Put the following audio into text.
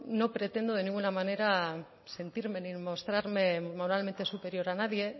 no pretendo de ninguna manera sentirme ni mostrarme moralmente superior a nadie